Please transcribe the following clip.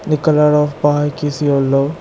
The colour of bike is yellow.